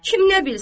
Kim nə bilsin?